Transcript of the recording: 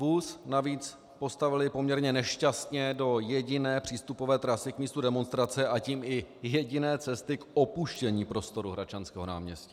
Vůz navíc postavili poměrně nešťastně do jediné přístupové trasy k místu demonstrace, a tím i jediné cesty k opuštění prostoru Hradčanského náměstí.